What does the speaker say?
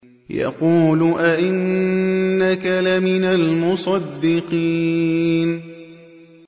يَقُولُ أَإِنَّكَ لَمِنَ الْمُصَدِّقِينَ